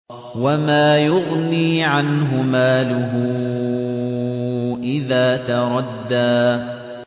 وَمَا يُغْنِي عَنْهُ مَالُهُ إِذَا تَرَدَّىٰ